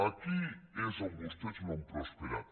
aquí és on vostès no ha prosperat